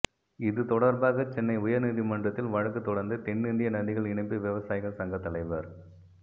இதுதொடர்பாகச் சென்னை உயர் நீதிமன்றத்தில் வழக்குத் தொடர்ந்த தென்னிந்திய நதிகள் இணைப்பு விவசாயிகள் சங்கத் தலைவர்